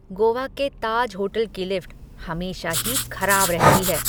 गोवा के ताज होटल की लिफ्ट हमेशा ही खराब रहती है।